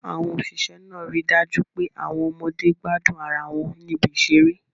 Àwọn òṣìṣẹ́ náà ríi dájú pé àwọn ọmọdé gbádùn ara wọn níbi ìṣeré